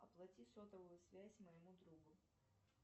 оплати сотовую связь моему другу